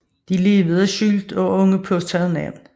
De levede skjult og under påtagede navne